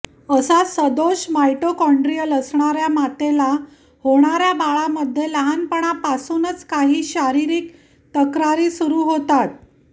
असा सदोष मायटोकाँड्रिअल असणाऱ्या मातेला होणाऱ्या बाळामध्ये लहानपणापासूनच काही शारीरिक तक्रारी सुरू होतात